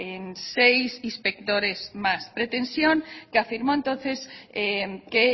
en seis inspectores más pretensión que afirmó entonces que